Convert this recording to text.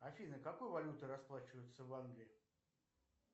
афина какой валютой расплачиваются в англии